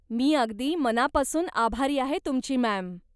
मी अगदी मनापासून आभारी आहे तुमची, मॅम!